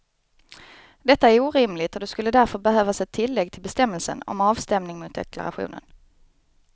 Detta är orimligt och det skulle därför behövas ett tillägg till bestämmelsen om avstämning mot deklarationen.